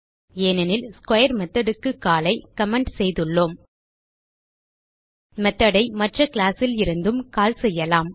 ஏனெனில் ஸ்க்வேர் methodக்கு கால் ஐ கமெண்ட் செய்துள்ளோம் methodஐ மற்ற கிளாஸ் லிருந்தும் கால் செய்யலாம்